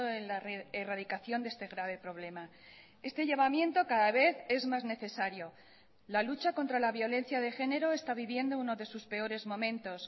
en la erradicación de este grave problema este llamamiento cada vez es más necesario la lucha contra la violencia de género está viviendo uno de sus peores momentos